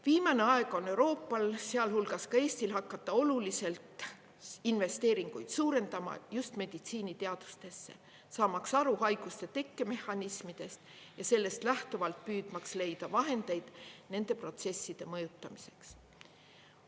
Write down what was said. Viimane aeg on Euroopal, sealhulgas ka Eestil, hakata oluliselt investeeringuid suurendama just meditsiiniteadustesse, saamaks aru haiguste tekkemehhanismidest ja sellest lähtuvalt püüdmaks leida vahendeid nende protsesside mõjutamiseks.